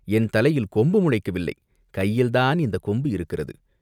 என் தலையிலே கொம்பு முளைக்கவில்லை, கையிலேதான் இந்தக் கொம்பு இருக்கிறது!